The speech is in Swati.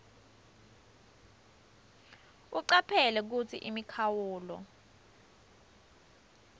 ucaphele kutsi imikhawulo